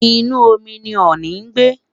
inu omi ni ọọni n gbe